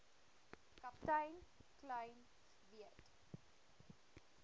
kaptein kleyn weet